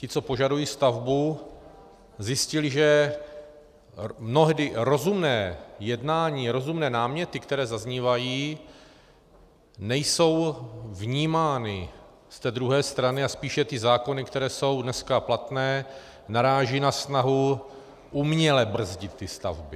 Ti, co požadují stavbu, zjistili, že mnohdy rozumné jednání, rozumné náměty, které zaznívají, nejsou vnímány z té druhé strany, a spíše ty zákony, které jsou dneska platné, narážejí na snahu uměle brzdit ty stavby.